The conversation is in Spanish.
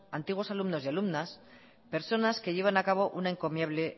antiguos alumnos y alumnas personas que llevan a cabo una encomiable